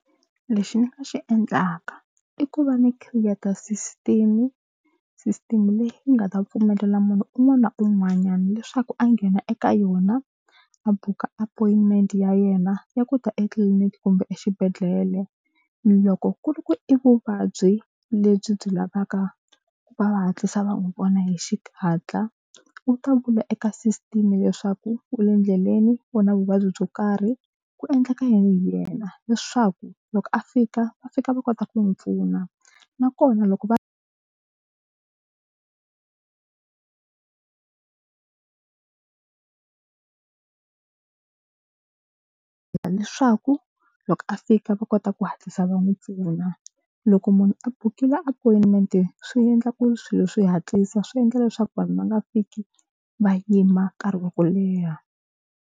Lexi ni nga xi endlaka i ku va ni khiriyeta system system leyi yi nga ta pfumelela munhu un'wana na un'wanyana leswaku a nghena eka yona a buka appointment ya yena ya ku ta etliliniki kumbe exibedhlele loko ku ri ku i vuvabyi lebyi byi lavaka ku va va hatlisa va n'wi vona hi xihatla u ta vula eka sisiteme leswaku u le ndleleni u na vuvabyi byo karhi ku endleka yini hi yena leswaku loko a fika va fika va kota ku n'wi pfuna nakona loko va leswaku loko fika va kota ku hatlisa va n'wi pfuna loko munhu a bukile appointment swi endla ku swilo swi hatlisa swi endla leswaku vanhu va nga fiki va yima nkarhi wa ku leha.